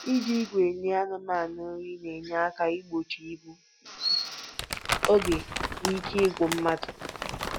Iji igwe enye anụmanụ nri na-enye aka igbochi igbu oge na ike ịgwụ mmadụ